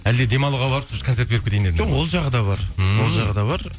әлде демалуға барып концерт беріп кетейін дедің бе жоқ ол жағы да бар ммм ол жағы да бар